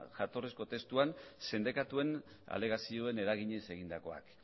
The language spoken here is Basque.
jatorrizko testuan sindikatuen alegazioen eraginez egindakoak